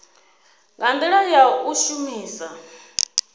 nga ndila ya u shumisa